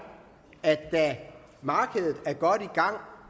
at da markedet var